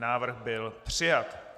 Návrh byl přijat.